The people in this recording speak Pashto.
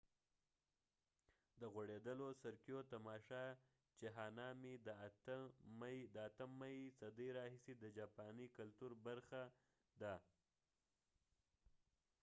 د غوړېدلو سرکیو تماشا چې هانامي د 8مې صدۍ راهیسې د جاپاني کلتور برخه ده